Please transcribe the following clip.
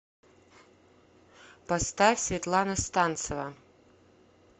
поставь светлана станцева